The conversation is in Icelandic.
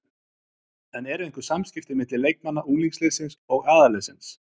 En eru einhver samskipti milli leikmanna unglingaliðsins og aðalliðsins?